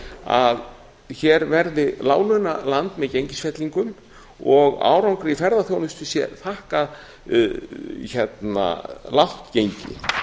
að hér verði láglaunaland með gengisfellingum og árangri í ferðaþjónustu sé þakkað lágt gengi